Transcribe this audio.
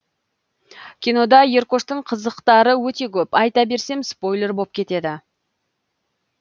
кинода еркоштың қызықтары өте көп айта берсем спойлер боп кетеді